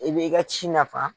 I bɛ i ka ci nafa.